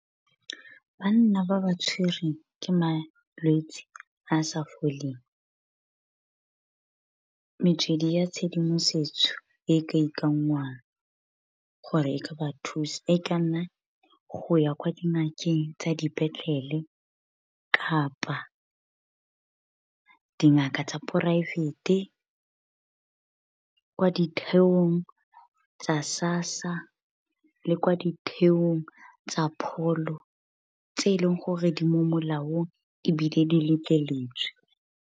Banna ba ba tshwereng ke malwetse a a sa foleng. Metswedi ya tshedimosetso e ka ikanngwang, gore e ka ba thusa. E ka nna go ya kwa dingakeng tsa dipetlele, kapa dingaka tsa poraefete, kwa ditheong tsa SASSA, le kwa ditheong tsa pholo, tse e leng gore di mo molaong ebile di letleletswe.